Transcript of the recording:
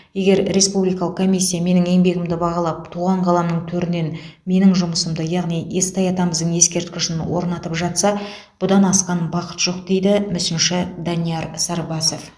егер республикалық комиссия менің еңбегімді бағалап туған қаламның төрінен менің жұмысымды яғни естай атамыздың ескерткішін орнатып жатса бұдан асқан бақыт жоқ дейді мүсінші данияр сарбасов